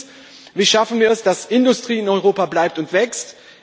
Und drittens Wie schaffen wir es, dass Industrie in Europa bleibt und wächst?